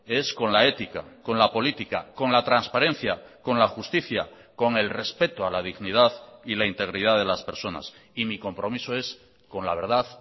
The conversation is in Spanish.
es con la ética con la política con la transparencia con la justicia con el respeto a la dignidad y la integridad de las personas y mi compromiso es con la verdad